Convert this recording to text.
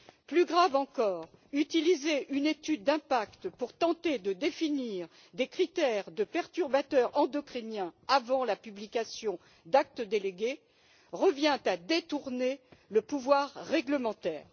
Plus grave encore, utiliser une étude d'impact pour tenter de définir des critères de perturbateurs endocriniens avant la publication d'actes délégués revient à détourner le pouvoir réglementaire.